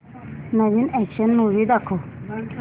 नवीन action movie दाखव